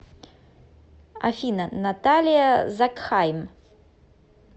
афина наталия закхайм